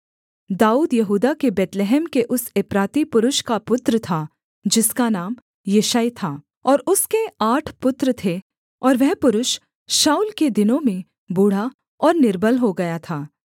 दाऊद यहूदा के बैतलहम के उस एप्राती पुरुष का पुत्र था जिसका नाम यिशै था और उसके आठ पुत्र थे और वह पुरुष शाऊल के दिनों में बूढ़ा और निर्बल हो गया था